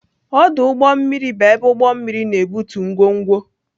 Ọdụ ụgbọ mmiri bụ ebe ụgbọ mmiri na-ebutu ngwongwo.